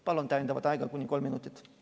Palun täiendavalt aega kuni kolm minutit!